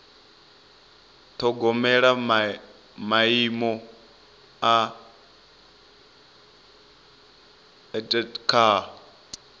ṱhogomela maimo a etd kha